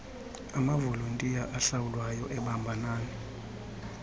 amavolontiya ahlawulwayo ebambanani